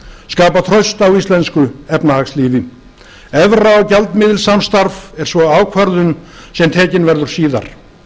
skapa traust á íslensku efnahagslífi evra og gjaldmiðilssamstarf er svo ákvörðun sem tekin verður síðar